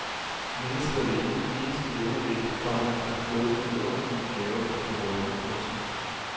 Mennesket er det eneste levende væsen, komma der har fået den vidunderlige gave at kunne rødme. punktum